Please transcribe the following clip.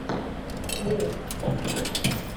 ес